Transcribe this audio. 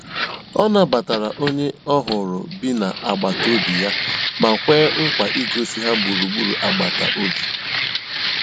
Ọ nàbàtàra ònyè ọ̀hụrụ́ bì na àgbátobị̀ yà mà kwéè nkwa ìgòsí ha gbùrùgbùrù àgbàtà òbì.